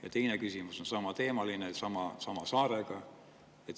Ja teine küsimus on samateemaline, sama saare kohta.